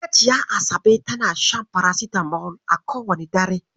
Hajiya Asabe tana shan farasitamol a kowane dare.